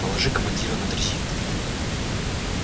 положи командира на дрезину